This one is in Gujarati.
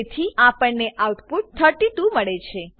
તેથી આપણને આઉટપુટ 32 મળે છે